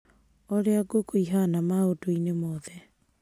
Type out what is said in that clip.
Urĩa ngũkũ ihana maundũ-ini mothe.